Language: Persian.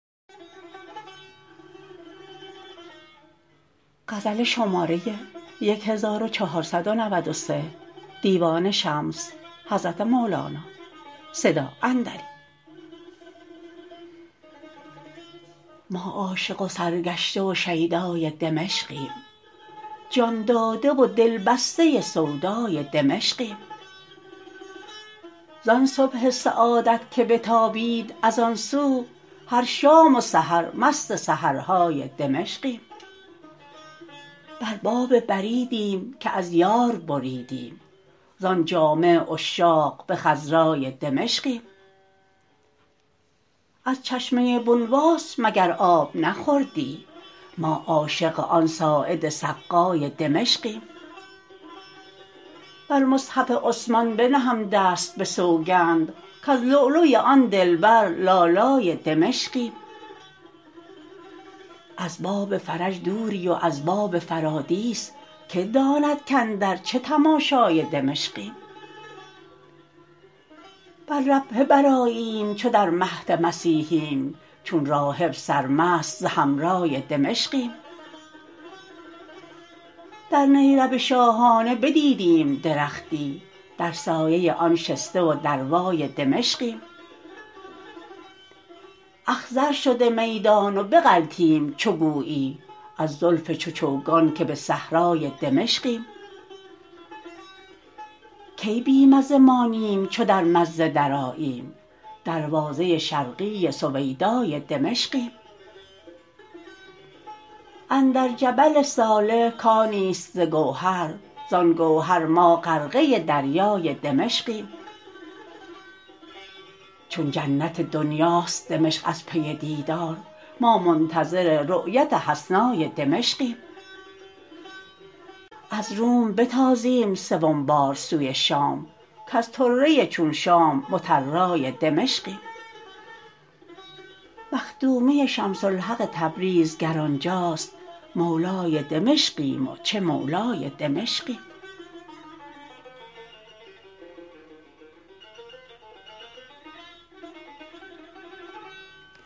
ما عاشق و سرگشته و شیدای دمشقیم جان داده و دل بسته سودای دمشقیم زان صبح سعادت که بتابید از آن سو هر شام و سحر مست سحرهای دمشقیم بر باب بریدیم که از یار بریدیم زان جامع عشاق به خضرای دمشقیم از چشمه بونواس مگر آب نخوردی ما عاشق آن ساعد سقای دمشقیم بر مصحف عثمان بنهم دست به سوگند کز لولوی آن دلبر لالای دمشقیم از باب فرج دوری و از باب فرادیس کی داند کاندر چه تماشای دمشقیم بر ربوه برآییم چو در مهد مسیحیم چون راهب سرمست ز حمرای دمشقیم در نیرب شاهانه بدیدیم درختی در سایه آن شسته و دروای دمشقیم اخضر شده میدان و بغلطیم چو گویی از زلف چو چوگان که به صحرای دمشقیم کی بی مزه مانیم چو در مزه درآییم دروازه شرقی سویدای دمشقیم اندر جبل صالح کانی است ز گوهر زان گوهر ما غرقه دریای دمشقیم چون جنت دنیاست دمشق از پی دیدار ما منتظر رأیت حسنای دمشقیم از روم بتازیم سوم بار سوی شام کز طره چون شام مطرای دمشقیم مخدومی شمس الحق تبریز گر آن جاست مولای دمشقیم و چه مولای دمشقیم